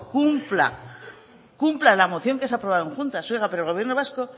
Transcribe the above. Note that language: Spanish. cumpla la moción que se aprobó en juntas oiga